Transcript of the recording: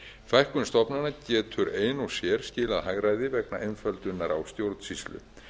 fækkun stofnana getur ein og sér skilað hagræði vegna einföldunar á stjórnsýslu